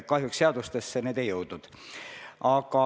Kahjuks need seadustesse ei jõudnud.